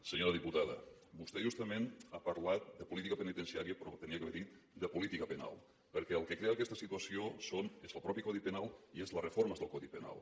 senyora diputada vostè justament ha parlat de política penitenciària però havia de d’haver dit de política penal perquè el que crea aquesta situació és el mateix codi penal i són les reformes del codi penal